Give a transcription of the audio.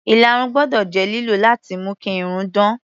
Ìlarun gbọ́dọ̀ jẹ́ lílò láti mú kí irun dán.